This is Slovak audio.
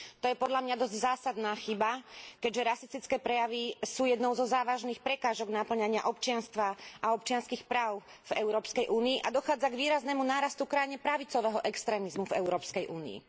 To je podľa mňa dosť zásadná chyba, keďže rasistické prejavy sú jednou zo závažných prekážok napĺňania občianstva a občianskych práv v Európskej únii a dochádza k výraznému nárastu krajne pravicového extrémizmu v Európskej únii.